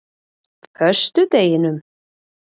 föstudeginum